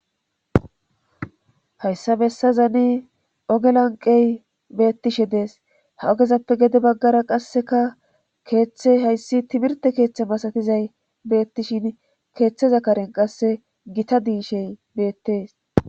hayssa bessa zani ogelanqey beettishe dees ha ogezappe gede baggara qasseka keeththe hayssi timirte keeththe masatizay beettishin keeththeza karen qasse gita diishey beettees